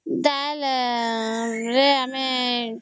ଡ଼ାଲ ରେ ଆମେ